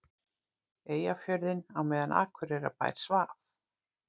Eyjafjörðinn á meðan Akureyrarbær svaf.